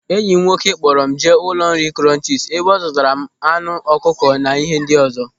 Enyi m nwoke kpọrọ m jee n'ụlọ nri Krọnchis ebe ọ zụtara m anụ ọkụkọ na ihe ndị ọzọ.